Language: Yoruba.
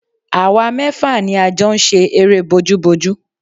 Àwa mẹ́fà ni a jọ ń ṣe eré bójúbojú